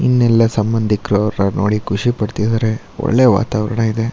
ಇನ್ನ ಎಲ್ಲ ಸಂಬಂದಿಕ್ರ ಅವ್ರ ನೋಡಿ ಖುಷಿ ಪಡ್ತಿದ್ದಾರೆ. ಒಳ್ಳೆ ವಾತಾವರಣ ಇದೆ.